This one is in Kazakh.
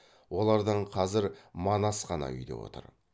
олардан қазір манас қана үйде отыр